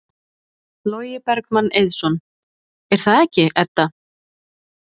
Logi Bergmann Eiðsson: Er það ekki, Edda?